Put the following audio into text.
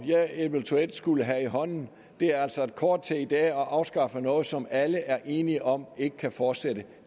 jeg eventuelt skulle have i hånden er altså et kort til i dag at afskaffe noget som alle er enige om ikke kan fortsætte